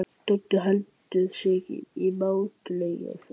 Doddi heldur sig í mátulegri fjarlægð.